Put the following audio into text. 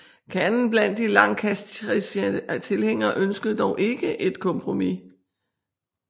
Kernen blandt de Lancastriske tilhængere ønskede dog ikke et kompromis